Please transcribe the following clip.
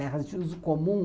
Terras de uso comum,